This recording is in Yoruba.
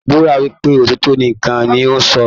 Búra wípé òtítọ nìkàn ní o sọ!